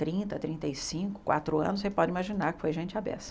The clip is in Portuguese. Trinta, trinta e cinco, quatro anos, você pode imaginar que foi gente a beça.